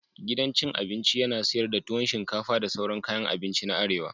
Gidan cin abinci yana sayar da tuwon shinfaka da sauran kayan abinci na arewa.